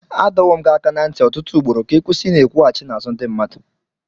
Adọwo m gị aka ná ntị ọtụtụ ugboro ka ị kwụsị Ị n'ekwughachi n'azụ ndị mmadụ.